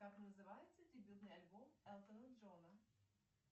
как называется дебютный альбом элтона джона